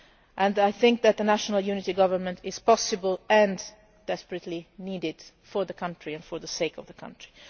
Libya and I think that a national unity government is possible and desperately needed for the country and for the sake of the country.